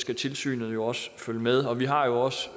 skal tilsynet jo også følge med og vi har også